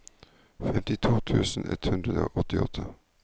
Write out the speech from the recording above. femtito tusen ett hundre og åttiåtte